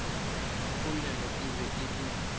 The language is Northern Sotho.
polelo e be e le